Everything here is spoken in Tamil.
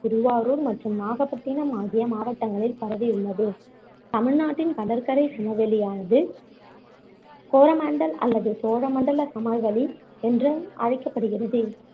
திருவாரூர் மற்றும் நாகப்பட்டினம் ஆகிய மாவட்டங்களில் பரவியுள்ளது தமிழ்நாட்டின் கடற்கரைச் சமவெளியானது கோரமண்டல் அல்லது சோழமண்டல சமவெளி என்றும் அழைக்கப்படுகிறது